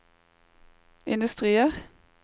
industrier